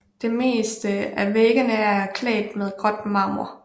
Det meste af væggene er klædt med gråt marmor